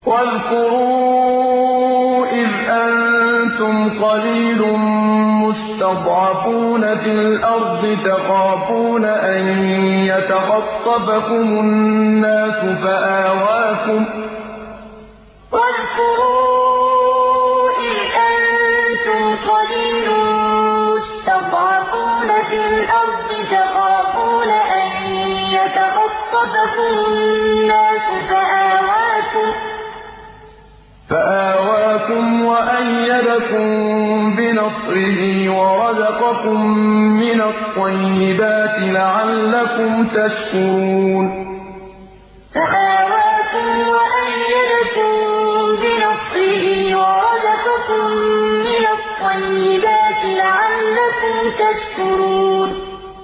وَاذْكُرُوا إِذْ أَنتُمْ قَلِيلٌ مُّسْتَضْعَفُونَ فِي الْأَرْضِ تَخَافُونَ أَن يَتَخَطَّفَكُمُ النَّاسُ فَآوَاكُمْ وَأَيَّدَكُم بِنَصْرِهِ وَرَزَقَكُم مِّنَ الطَّيِّبَاتِ لَعَلَّكُمْ تَشْكُرُونَ وَاذْكُرُوا إِذْ أَنتُمْ قَلِيلٌ مُّسْتَضْعَفُونَ فِي الْأَرْضِ تَخَافُونَ أَن يَتَخَطَّفَكُمُ النَّاسُ فَآوَاكُمْ وَأَيَّدَكُم بِنَصْرِهِ وَرَزَقَكُم مِّنَ الطَّيِّبَاتِ لَعَلَّكُمْ تَشْكُرُونَ